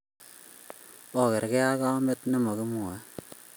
Okerkei ak komet ne mo kimwoey.